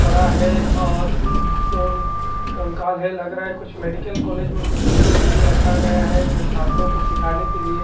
बड़ा है और कंकाल है लग रहा है कुछ मेडिकल कॉलेज में कुछ डिस्प्ले के लिए रखा गया है जो छात्रों को सीखने के लिए--